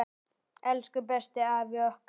Elsku besti afi okkar!